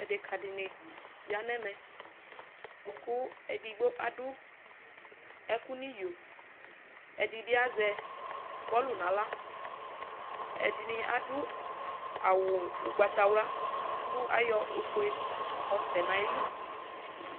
Adeka dini yanʋ ɛmɛ kʋ edigbo adʋ ɛkʋ nʋ iyo ɛdibi azɛ azɛ bɔlɔ nʋ aɣla ɛdini adʋ awʋ agbatawla kʋ ayɔ ofue yɔsɛ nʋ ayili